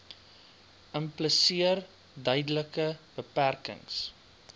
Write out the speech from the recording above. impliseer duidelike beperkings